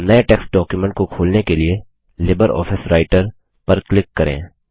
अब नये text document को खोलने के लिए लिब्रियोफिस Writerलिबरऑफिस राइटर पर क्लिक करें